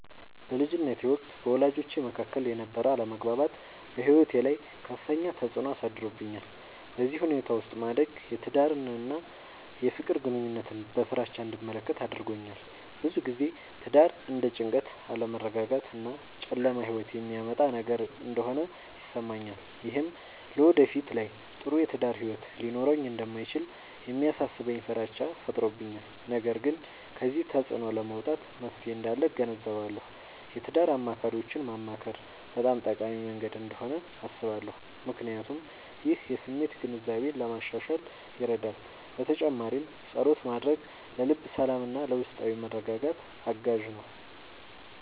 በልጅነቴ ወቅት በወላጆቼ መካከል የነበረ አለመግባባት በሕይወቴ ላይ ከፍተኛ ተፅዕኖ አሳድሮብኛል። በዚህ ሁኔታ ውስጥ ማደግ የትዳርን እና የፍቅር ግንኙነትን በፍራቻ እንድመለከት አድርጎኛል። ብዙ ጊዜ ትዳር እንደ ጭንቀት፣ አለመረጋጋት እና ጨለማ ሕይወት የሚያመጣ ነገር እንደሆነ ይሰማኛል። ይህም በወደፊት ላይ ጥሩ የትዳር ሕይወት ሊኖረኝ እንደማይችል የሚያሳስበኝ ፍራቻ ፈጥሮብኛል። ነገር ግን ከዚህ ተፅዕኖ ለመውጣት መፍትሔ እንዳለ እገነዘባለሁ። የትዳር አማካሪዎችን ማማከር በጣም ጠቃሚ መንገድ እንደሆነ አስባለሁ፣ ምክንያቱም ይህ የስሜት ግንዛቤን ለማሻሻል ይረዳል። በተጨማሪም ፀሎት ማድረግ ለልብ ሰላምና ለውስጣዊ መረጋጋት አጋዥ ነው።